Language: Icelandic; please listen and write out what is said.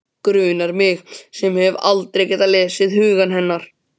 Grunar mig sem hef aldrei getað lesið hug hennar.